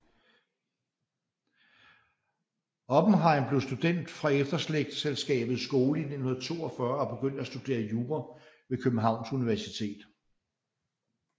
Oppenhejm blev student fra Efterslægtselskabets Skole 1942 og begyndte at studere jura ved Københavns Universitet